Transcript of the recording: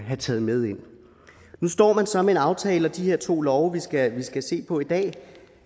have taget med ind nu står man så med en aftale og de her to lovforslag vi skal se på i dag